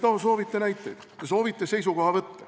Te soovite näiteid, te soovite seisukohavõtte.